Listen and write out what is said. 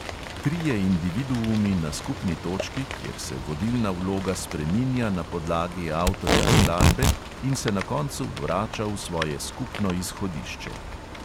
Trije individuumi na skupni točki, kjer se vodilna vloga spreminja na podlagi avtorja skladbe in se na koncu vrača v svoje skupno izhodišče.